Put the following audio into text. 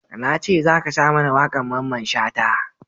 Na ce za ka sa mana wakan Mamman Shata!